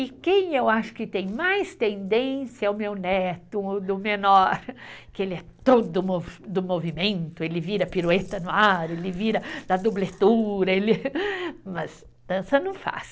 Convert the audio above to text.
E quem eu acho que tem mais tendência é o meu neto, o do menor, que ele é todo do movimento, ele vira pirueta no ar, ele vira da dubletura, mas dança não faz.